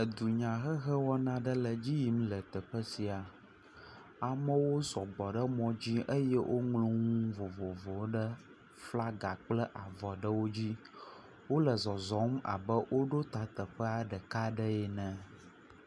Edunyahehe wɔna aɖe le edzi yim le teƒe sia. Amewo sɔgbɔ ɖe mɔdzi eye woŋlɔ nu vovovowo ɖe flaga kple avɔwo dzi. Wole zɔzɔm abe woɖo ta teƒa ɖeka aɖe ene.